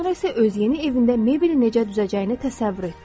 Daha sonra isə öz yeni evində mebeli necə düzəcəyini təsəvvür etdi.